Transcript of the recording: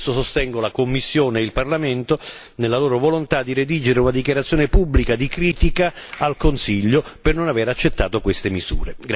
Per questo sostengo la Commissione e il Parlamento nella loro volontà di redigere una dichiarazione pubblica di critica al Consiglio per non aver accettato queste misure.